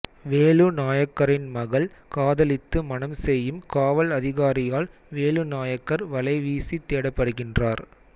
வேலு நாயக்கரின் மகள் காதலித்து மணம் செய்யும் காவல் அதிகாரியால் வேலு நாயக்கர் வலைவீசித் தேடப்படுகின்றார்